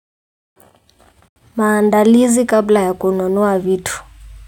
Maandalizi kabla ya kununua vitu.